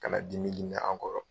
Ka na dimi dimi an kɔrɔ.